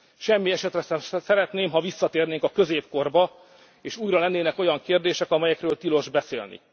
fejét. Semmi esetre sem szeretném, ha visszatérnénk a középkorba, és újra lennének olyan kérdések, amelyekről tilos beszélni.